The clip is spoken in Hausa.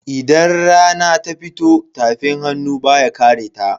Idan rana ta fito tafin hannu baya kareta.